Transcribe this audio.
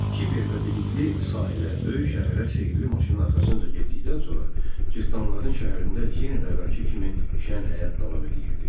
Kiber və bilikli sahilə böyük şəhərə sehirli maşının arxasınca getdikdən sonra cırtdanların şəhərində yenə də əvvəlki kimi şən həyat davam edirdi.